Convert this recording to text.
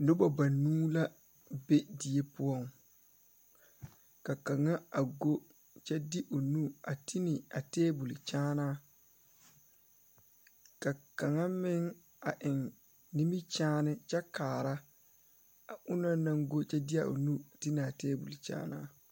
Noba banuu la be die poɔŋ ka kaŋa a go kyɛ de o nu a ti ne a tabol kyɛ ka kaŋa meŋ a eŋ nimikyaane kyɛ kaara a o na naŋ go de a o nu ti ne a tabol.